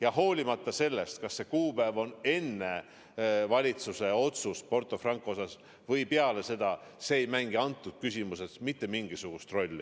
Aga pole oluline, kas see kuupäev oli enne valitsuse otsust Porto Franco kohta või peale seda – see ei mängi antud küsimuses mitte mingisugust rolli.